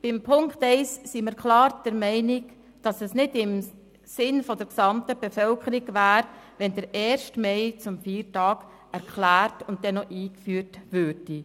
Bei Ziffer 1 sind wir klar der Meinung, es wäre nicht im Sinn der gesamten Bevölkerung, wenn der Erste Mai zum Feiertag erklärt und eingeführt würde;